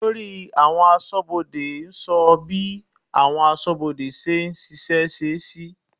Olórí àwọn aṣọ́bodè sọ bí àwọn aṣọ́bodè ṣe ń ṣiṣẹ́ sí.